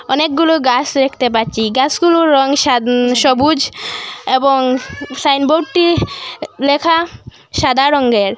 অনেকগুলু গাস দেখতে পাচ্চি গাসগুলুর রং সাদ- সবুজ এবং সাইনবোর্ডটি -টি লেখা সাদা রংগের।